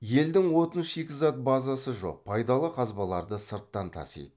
елдің отын шикізат базасы жоқ пайдалы қазбаларды сырттан тасиды